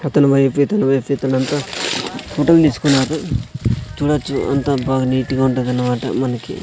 అతనువైపు ఇతనువైపు అక్కడంతా ఫొటో లు తీసుకున్నారు చూడచ్చు అంత బాగా నీట్ గా ఉంటాదనమాట మనకి.